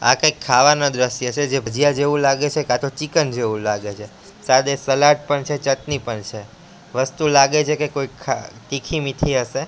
આ કંઈક ખાવાના દ્રશ્ય છે જે ભજીયા જેવું લાગે છે કાં તો ચિકન જેવું લાગે છે સાથે સલાડ પણ છે ચટની પણ છે વસ્તુ લાગે છે કે કોઈ ખા તીખી મીઠી હશે.